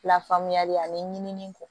Lafaamuyali ani ɲinini kɔ